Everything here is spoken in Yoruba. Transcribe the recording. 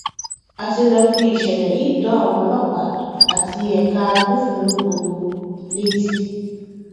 a ti lọọ fìṣẹlẹ yìí tó àwọn ọlọpàá àti ẹka agbófinró gbogbo létí